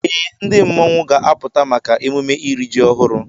Ee, ndị mmọnwụ ga-apụta maka emume iri ji ọhụrụ.